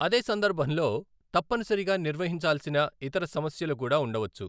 అదే సందర్భంలో తప్పనిసరిగా నిర్వహించాల్సిన ఇతర సమస్యలు కూడా ఉండవచ్చు.